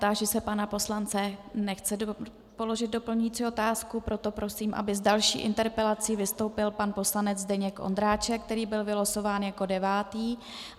Táži se pana poslance - nechce položit doplňující otázku, proto prosím, aby s další interpelací vystoupil pan poslanec Zdeněk Ondráček, který byl vylosován jako devátý.